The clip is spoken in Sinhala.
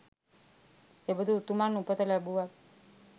එබඳු උතුමන් උපත ලැබූවත්